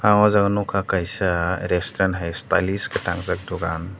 ang o jaga nogkha kaisa restaurant hai stylish ke tangjak pora.